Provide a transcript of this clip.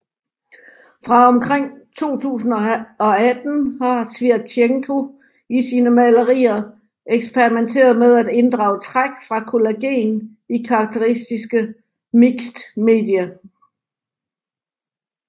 Fra omkring 2018 har Sviatchenko i sine malerier eksperimenteret med at inddrage træk fra collagen i karakteristiske mixed media